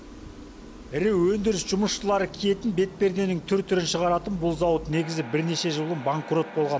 ірі өндіріс жұмысшылары киетін бетперденің түр түрін шығаратын бұл зауыт негізі бірнеше жыл бұрын банкрот болған